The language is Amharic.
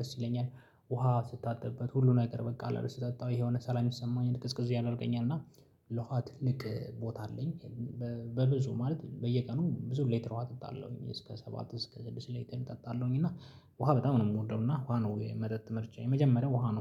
ደስ ይለኛል። ውሃ ስታጥብበት ሁሉ ነገር በቃ አለ አይደል ስጠጣው የሆነ ሰላም ይሰማኝ ቅዝቅዝ ያደርገኛል እና ለውሃ ትልቅ ቦታ አለኝ። በብዙ ማለት በየቀኑ ብዙ ሌትር ውሃ አጠጣለሁኝ። እስከ ሰባት እስከ ስድስት ሌትር እጠጣለሁኝ እና ውሃ በጣም ነው የምወደው እና ውሃ ነው የመጠጥ ምርጫዬ የመጀመሪያው ውሃ ነው።